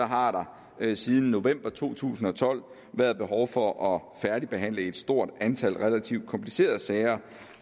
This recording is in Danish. har der siden november to tusind og tolv været behov for at færdigbehandle et stort antal relativt komplicerede sager